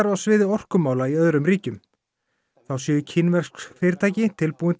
á sviði orkumála í öðrum ríkjum þá séu kínversk fyrirtæki tilbúin